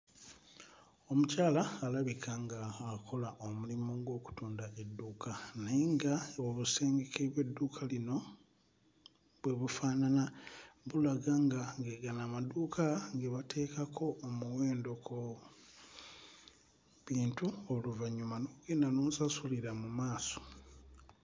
Omukyala alabika ng'akola omulimu gw'okutunda edduuka naye nga obusengeke bw'edduuka lino bwe bufaanana bulaga nga ge gano amaduuka ge bateekako omuwendo ku bintu oluvannyuma n'ogenda n'osasulira mu maaso.